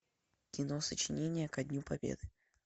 кино сочинение ко дню победы